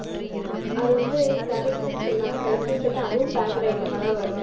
அது வந்து, கிடைக்குதுன்னு சொல்றாங்க கிடைக்குதுன்னு சொல்லிட்டு அதுவும் packed item ஆ தான் வருது.